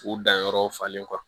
U danyɔrɔw falen